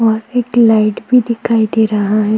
और एक लाइट भी दिखाई दे रहा है।